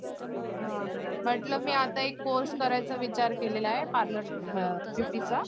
म्हंटल मी आता एक कोर्स करायचा विचार केलेला आहे पार्लर ब्युटीचं